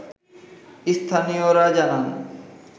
স্থানীয়রা জানান